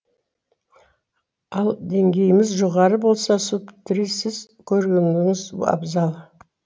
ал деңгейіңіз жоғары болса субтрисіз көргеніңіз абзал